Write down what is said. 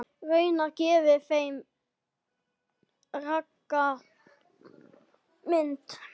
Raunar gefi þeir ranga mynd.